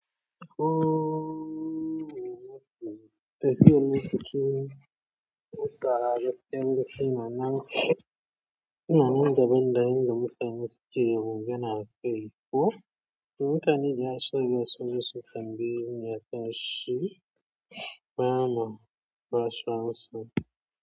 Mutane suke magana a akai ko? To mutane da yawa suna zuwa su ma su tambayeni.